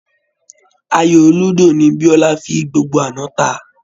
Àyò lúdò ni Biọ́lá fi gbogbo àná ta